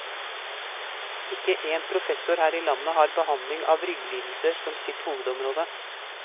Ikke én professor her i landet har behandling av rygglidelser som sitt hovedområde.